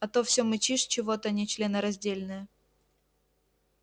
а то всё мычишь чего-то нечленораздельное